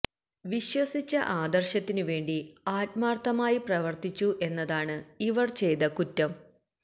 വിശ്വസിച്ച ആദര്ശത്തിനുവേണ്ടി ആത്മാര്ത്ഥമായി പ്രവര്ത്തിച്ചു എന്നതാണ് ഇവര് ചെയ്ത കുറ്റം